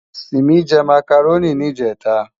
Simi sè Mákáróni nijètá